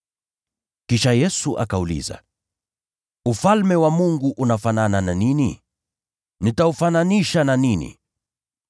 Kisha Yesu akauliza, “Ufalme wa Mungu unafanana na nini? Nitaufananisha na nini?